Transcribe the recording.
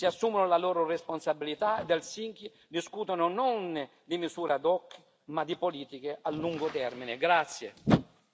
Gli Stati membri si assumano la loro responsabilità ad Helsinki, discutano, non di misure ad hoc, ma di politiche a lungo termine.